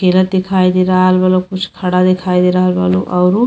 खेलत दिखाई दे रहल बा लो कुछ खड़ा दिखाई दे रहल बा लो औरु --